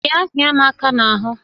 Bịa hịa m aka n'ahụ!